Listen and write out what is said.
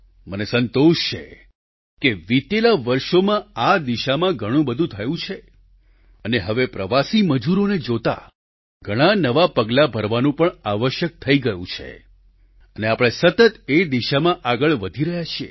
મને સંતોષ છે કે વિતેલા વર્ષોમાં આ દિશામાં ઘણું બધું થયું છે અને હવે પ્રવાસી મજૂરોને જોતાં ઘણાં નવાં પગલાં ભરવાનું પણ આવશ્યક થઈ ગયું છે અને આપણે સતત એ દિશામાં આગળ વધી રહ્યા છીએ